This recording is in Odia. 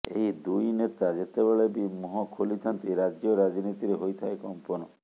ଏହି ଦୁଇ ନେତା ଯେତେବେଳେ ବି ମୁହଁ ଖୋଲିଥାନ୍ତି ରାଜ୍ୟ ରାଜନୀତିରେ ହୋଇଥାଏ କମ୍ପନ